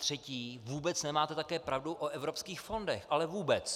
Třetí - vůbec nemáte také pravdu o evropských fondech, ale vůbec.